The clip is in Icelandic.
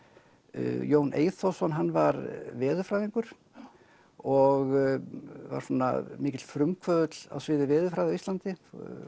Jón Eyþórsson hann var veðurfræðingur og var svona mikill frumkvöðull á sviði veðurfræði á Íslandi